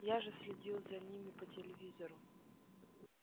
я же следил за ними по телевизору